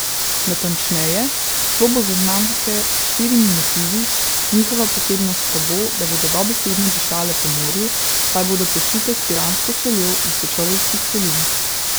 Natančneje, šlo bo za znamke s štirimi motivi, njihova posebnost pa bo, da bodo dobesedno dišale po morju, saj bodo posute s piransko soljo iz Sečoveljskih solin.